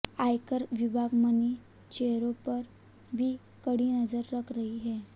आयकर विभाग मनी चेंजरों पर भी कड़ी नजर रख रही है